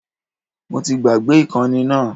Mo ti gbàgbé ìkànnì náà